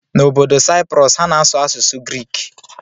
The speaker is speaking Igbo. N'obodo Cyprus, ha na-asụ asụsụ Grik.